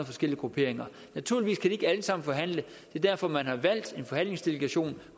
forskellige grupperinger naturligvis kan de ikke alle sammen forhandle det er derfor man har valgt en forhandlingsdelegation